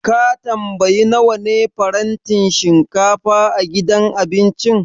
Ka tambayi nawa ne farantin shinkafa a gidan abincin?